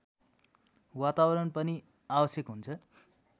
वातावरण पनि आवश्यक हुन्छ